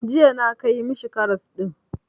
Jiya na kai ma shi karas ɗin.